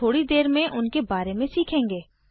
हम थोड़ी देर में उनके बारे में सीखेंगे